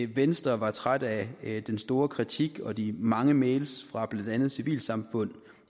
venstre var træt af den store kritik og de mange mails fra blandt andet civilsamfundet